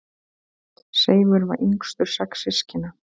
Seifur var yngstur sex systkina.